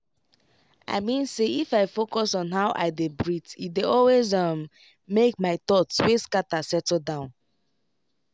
i mean say if i focus on how i dey breathee dey always um make my thoughts wey scatter settle down.